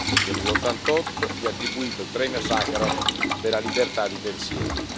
che nell'88 gli ha attribuito il premio Sacharov per la libertà di pensiero.